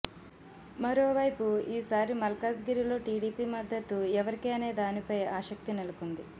మరోవైపు ఈ సారి మల్కాజ్ గిరిలో టీడీపీ మద్దతు ఎవరికి అనే దానిపై ఆసక్తి నెలకొంది